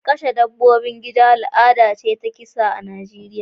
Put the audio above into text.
Kashe dabbobin gida al'ada ce ta kisa a Najeriya